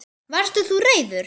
Varst þú reiður?